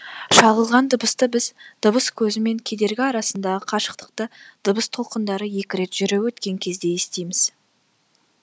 шағылған дыбысты біз дыбыс көзі мен кедергі арасындағы қашықтықты дыбыс толқындары екі рет жүріп өткен кезде естиміз